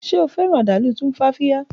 Ṣe o fẹran adalu Tumfafiya